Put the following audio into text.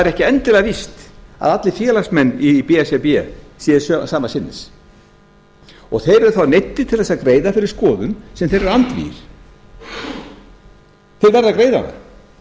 ekki endilega víst að allir félagsmenn í b s r b séu sama sinnis þeir eru þá neyddir til þess að greiða fyrir skoðun sem þeir eru andvígir þeir verða